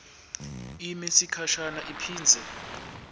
ime sikhashanyana iphindze